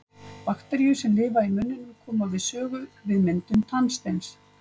bakteríur sem lifa í munninum koma við sögu við myndum tannsteins